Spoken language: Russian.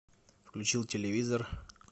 включил телевизор